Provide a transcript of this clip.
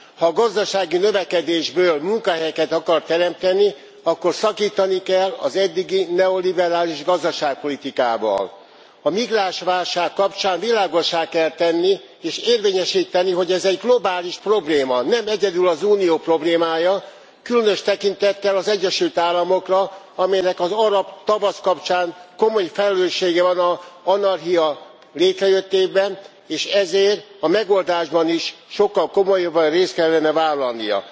Ha a gazdasági növekedésből munkahelyeket akar teremteni, akkor szakítani kell az eddigi neoliberális gazdaságpolitikával. A migránsválság kapcsán világossá kell tenni és érvényesíteni, hogy ez egy globális probléma, nem egyedül az Unió problémája, különös tekintettel az Egyesült Államokra, amelynek az Arab Tavasz kapcsán komoly felelőssége van az anarchia létrejöttében, és ezért a megoldásban is sokkal komolyabban részt kellene vállalnia.